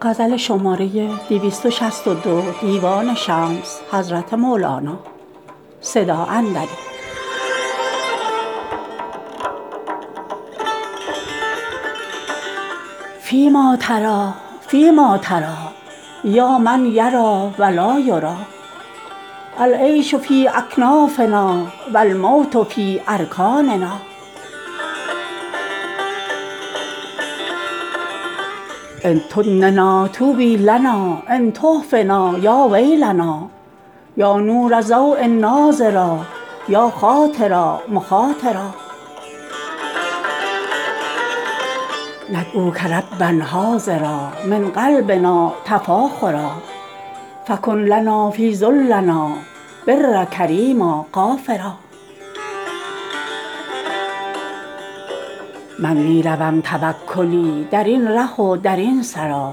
فیما تری فیما تری یا من یری و لا یری العیش فی اکنافنا و الموت فی ارکاننا ان تدننا طوبی لنا ان تحفنا یا ویلنا یا نور ضؤ ناظرا یا خاطرا مخاطرا ندعوک ربا حاضرا من قلبنا تفاخرا فکن لنا فی ذلنا برا کریما غافرا من می روم توکلی در این ره و در این سرا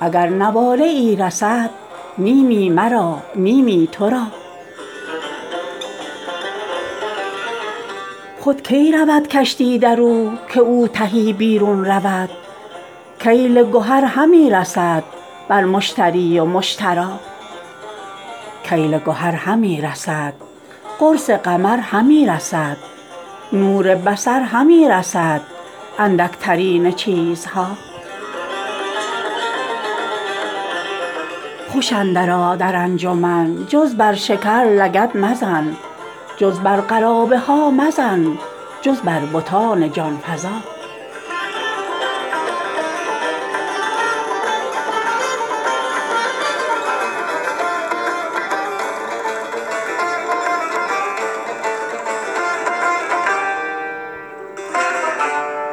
اگر نواله ای رسد نیمی مرا نیمی تو را خود کی رود کشتی در او که او تهی بیرون رود کیل گهر همی رسد بر مشتری و مشترا کیل گهر همی رسد قرص قمر همی رسد نور بصر همی رسد اندکترین چیزها خوش اندرآ در انجمن جز بر شکر لگد مزن جز بر قرابی ها مزن جر بر بتان جان فزا